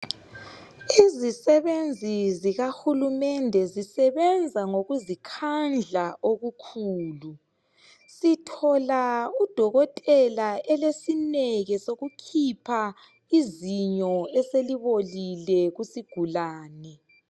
Izisebenzi zikahulumende zisebenza ngokuzikhandla okukhulu. Sithola udokotela elesineke sokukhipha izinyo eselibolile kusigulane.